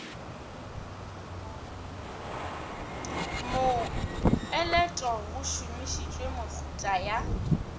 mopeleto go šomišitšwe mehuta ya